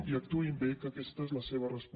i actuïn bé que aquesta és la seva responsabilitat